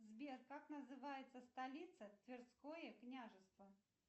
сбер как называется столица тверское княжество